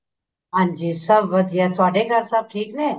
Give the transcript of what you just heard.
ਹਾਂਜੀ ਸਭ ਵਧੀਆ ਤੁਹਾਡੇ ਘਰ ਸਭ ਠੀਕ ਨੇ